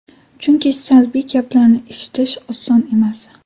Chunki salbiy gaplarni eshitish oson emas.